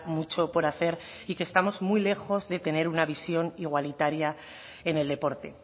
mucho por hacer y que estamos muy lejos de tener una visión igualitaria en el deporte